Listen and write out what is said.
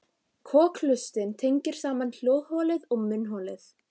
Kokhlustin tengir saman hljóðholið og munnholið.